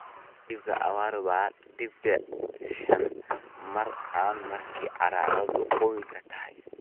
"Dharka jilibka awar dibic shan, mari CAN marka carradu qoyan tahay.